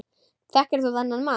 Þekkir þú þennan mann?